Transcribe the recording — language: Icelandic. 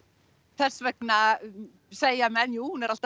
þess vegna segja menn jú hún er alltaf